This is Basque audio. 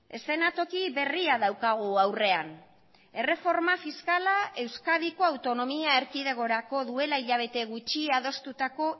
eszenatoki berria daukagu aurrean erreforma fiskala euskadiko autonomia erkidegorako duela hilabete gutxi adostutako